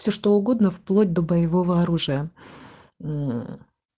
все что угодно вплоть до боевого оружия